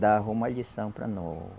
dava uma lição para nó